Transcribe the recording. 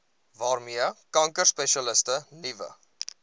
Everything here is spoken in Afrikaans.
waarmee kankerspesialiste nuwe